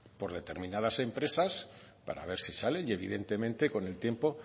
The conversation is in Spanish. determinadas empresas para ver si salen y evidentemente con el tiempo